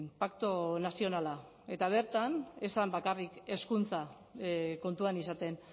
pakto nazionala eta bertan ez zen bakarrik hezkuntza kontuan izaten